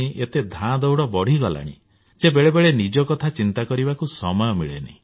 ଏତେ ଧାଁଦଉଡ ବଢ଼ିଗଲାଣି ଯେ ବେଳେ ବେଳେ ନିଜ କଥା ଚିନ୍ତା କରିବାକୁ ସମୟ ମିଳେନି